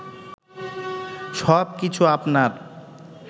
সব কিছু আপনার